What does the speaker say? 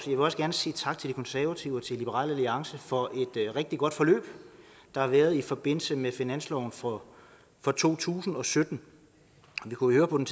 vil også gerne sige tak til de konservative og til liberal alliance for et rigtig godt forløb der har været i forbindelse med finansloven for for to tusind og sytten vi kunne høre på den